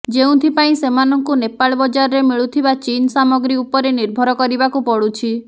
ଯେଉଁଥିପାଇଁ ସେମାନଙ୍କୁ ନେପାଳ ବଜାରରେ ମିଳୁଥିବା ଚୀନ ସାମଗ୍ରୀ ଉପରେ ନିର୍ଭର କରିବାକୁ ପଡୁଛି